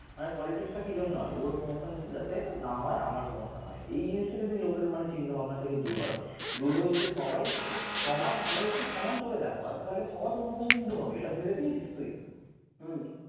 মানে politics টা কি জন্য হয় ওর promotion যাতে না হয় আমার promotion হয় এই জিনিসটা যদি লোকের মানে চিন্তা ভাবনা থেকে দূর হয় দূর হয়ে যদি সবাই সমান সবাইকে সমান চোখে দেখা হয় তাহলে সবার promotion কিন্তু হবে এটা ভেবে দেখেছিস তুই